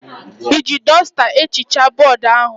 Iji dọsta ehichaa bọọdụ ojii ahụ?